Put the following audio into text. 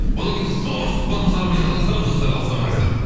одан кейін зор сұхбатымызды әрі қарай жалғастырамыз достар алыстамаңыздар